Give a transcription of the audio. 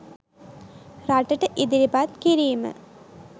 රටට ඉදිරිපත් කිරීම